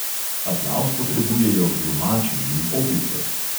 Aplavz potrebujejo glumači in opice.